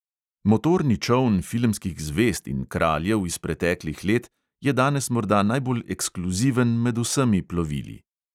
Motorni čoln filmskih zvezd in kraljev iz preteklih let je danes morda najbolj ekskluziven med vsemi plovili.